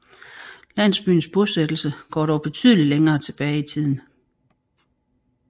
Landsbyens bosættelse går dog betydeligt længere tilbage i tiden